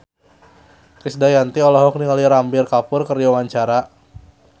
Krisdayanti olohok ningali Ranbir Kapoor keur diwawancara